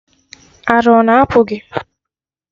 Ara ọ na apụ gị?